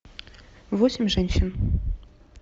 восемь женщин